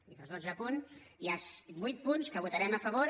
i dels dotze punts hi ha vuit punts que votarem a favor